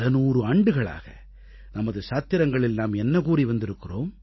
பலநூறு ஆண்டுகளாக நமது சாத்திரங்களில் நாம் என்ன கூறி வந்திருக்கிறோம்